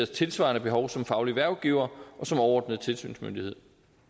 tilsvarende behov som faglig hvervgiver og som overordnet tilsynsmyndighed